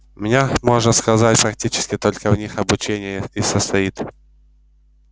у меня можно сказать практически только в них обучение и состоит